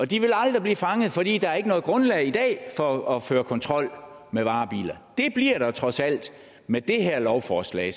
de vil aldrig blive fanget fordi der i noget grundlag for at føre kontrol med varebiler det bliver der trods alt med det her lovforslag